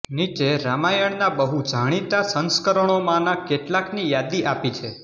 નીચે રામાયણનાં બહુજાણીતાં સંસ્કરણોમાંનાં કેટલાકની યાદી આપી છે